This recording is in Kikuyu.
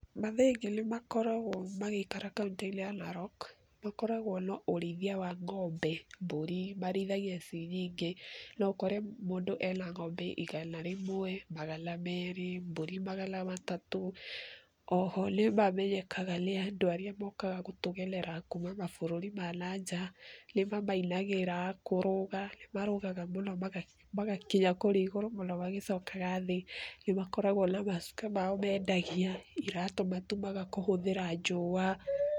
Mathaai aingĩ nĩ makoragwo magĩikara kauntĩ-inĩ ya Narok , makoragwo na ũrĩithia wa ng'ombe, mbũri marĩithagia ci nyingĩ. No ũkore mũndũ ena ng'ombe igana rĩmwe, magana meerĩ, mbũri magana matatũ. Oho nĩ mamenyekaga nĩ andũ arĩa mokaga gũtũgenera kuuma mabũrũri ma na nja, nĩmamainagĩra, kũrũga, nĩ marũgaga mũno maga magakinya kũrĩa igũrũ mũno magĩcokaga thĩ. Nĩ makoragwo na macuka mao mendagia, iratũ matumaga kũhũthĩra njũa.